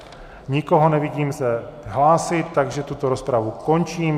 Nikoho nevidím se hlásit, takže tuto rozpravu končím.